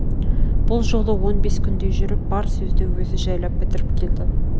бұл жолы он бес күндей жүріп бар сөзді өзі жайлап бітірп келді